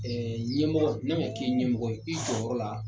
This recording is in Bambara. Ɛɛ ɲɛmɔgɔ ne ma k'i ɲɛmɔgɔ ye i jɔyɔrɔ la